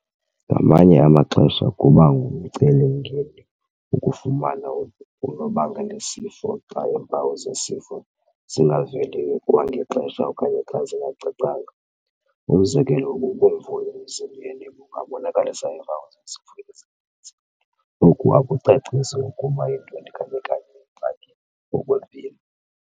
Ngamanye amaxesha kuba ngumceli mngeni ukufumana unobangelasifo xa iimpawu zesifo zingaveli kwangexesha okanye xa zingacacanga. Umzekelo, ububomvu emzimbeni bungabonakalisa iimpawu zezifo ezininzi oku akucaciseli okokuba yintoni kanye-kanye ingxaki ngokwempilo.